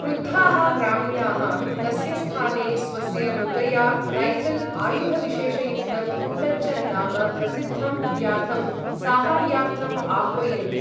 क्रुद्धाः ग्रामीणाः तस्य स्थाने स्वस्य मृगया रैऴल् आयुधविशेषयुक्तं कुट्टच्चन् नाम प्रसिद्धं व्याधं साहाय्यार्थम् आह्वयन्ति।